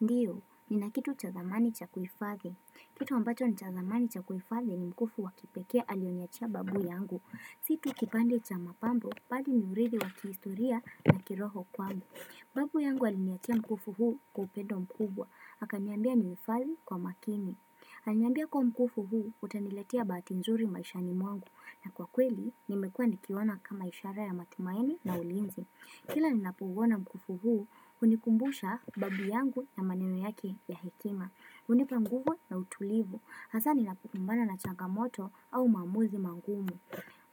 Ndiyo, ni na kitu cha dhamani cha kuhifadhi. Kitu ambacho ni cha dhamani cha kuhifadhi ni mkufu wakipekea alionyachia babu yangu. Situ kipande cha mapambo, bali ni uridhi wa kiistoria na kiroho kwangu. Babu yangu alinyachia mkufu huu kwa upendo mkubwa. Haka niambia ni mfali kwa makini. Aliniambia kwa mkufu huu, utanilatia baati nzuri maishani mwangu. Na kwa kweli, nimekua nikiona kama ishara ya matumaini na ulinzi. Kila ni napouona mkufu huu, unikumbusha babi yangu na maneno yake ya hekima Unipanguhu na utulivu, hasa ni napukumbana na changamoto au mamuzi mangumu